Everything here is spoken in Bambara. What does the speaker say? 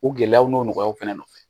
O gɛlɛyaw n'o nɔgɔyaw fana nɔfɛ